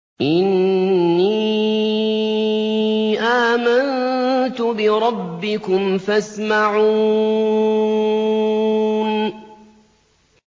إِنِّي آمَنتُ بِرَبِّكُمْ فَاسْمَعُونِ